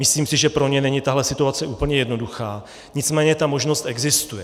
Myslím si, že pro ně není tahle situace úplně jednoduchá, nicméně ta možnost existuje.